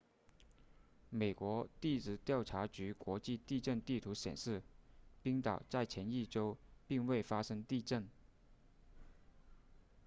美国地质调查局国际地震地图显示冰岛在前一周并未发生地震